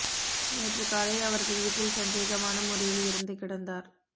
நேற்று காலை அவரது வீட்டில் சந்தேகமான முறையில் இறந்து கிடந்தார்